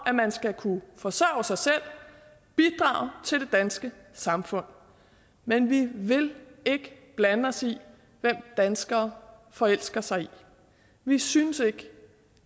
at man skal kunne forsørge sig selv bidrage til det danske samfund men vi vil ikke blande os i hvem danskere forelsker sig i vi synes ikke